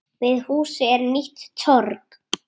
Við húsið er nýtt torg.